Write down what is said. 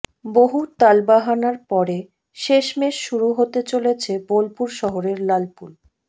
বহু টালবাহানার পরে শেষমেশ শুরু হতে চলেছে বোলপুর শহরের লালপুল